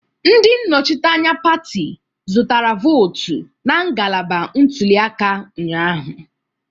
Ndị nnọchiteanya pati zụtara votu na ngalaba ntuli aka ụnyahụ